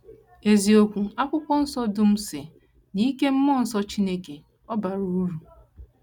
Eziokwu: “ Akwụkwọ Nsọ dum si n’ike mmụọ nsọ Chineke, ọ bara uru. ”